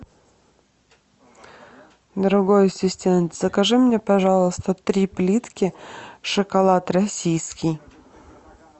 дорогой ассистент закажи мне пожалуйста три плитки шоколад российский